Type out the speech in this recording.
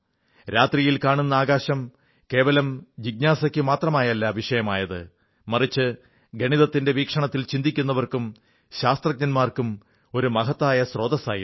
രാത്രിയിൽ കാണുന്ന ആകാശം കേവലം ജിജ്ഞാസയ്ക്കുമാത്രമാല്ല വിഷയമായത് മറിച്ച് ഗണിതത്തിന്റെ വീക്ഷണത്തിൽ ചിന്തിക്കുന്നവർക്കും ശാസ്ത്രജ്ഞന്മാർക്കും ഒരു മഹത്തായ സ്രോതസ്സായിരുന്നു